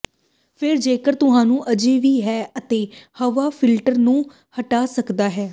ਫਿਰ ਜੇਕਰ ਤੁਹਾਨੂੰ ਅਜੇ ਵੀ ਹੈ ਅਤੇ ਹਵਾ ਫਿਲਟਰ ਨੂੰ ਹਟਾ ਸਕਦਾ ਹੈ